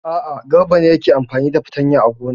A'a, Garba ne yake amfani da fatanya a gona.